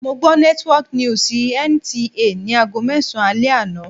Mo gbọ́ network news NTA ni aago mẹ́sàn-an alẹ́ àná.